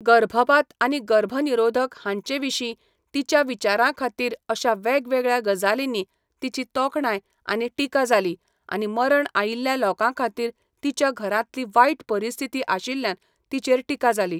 गर्भपात आनी गर्भनिरोधक हांचेविशीं तिच्या विचारांखातीर अशा वेगवेगळ्या गजालींनी तिची तोखणाय आनी टिका जाली आनी मरण आयिल्ल्या लोकांखातीर तिच्या घरांतली वायट परिस्थिती आशिल्ल्यान तिचेर टिका जाली.